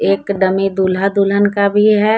एक डमी दूल्हा दुल्हन का भी है।